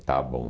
Está bom.